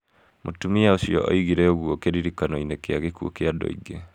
Mũtumia ũcio oigire ũguo kĩririkano-inĩ kĩa gĩkuũ kĩa andũ aingĩ.